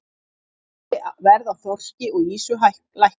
Verð á þorski og ýsu lækkað